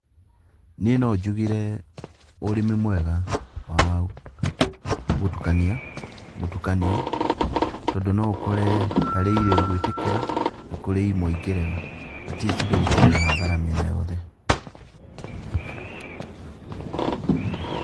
Niĩ no njugire ũrĩmi mwega wagũtukania mũtukanio, tondũ no ũkore harĩ irio igwĩtĩkira na kurĩ imwe ingĩrega atleast ndũgũkorwo na hathara mĩena yothe.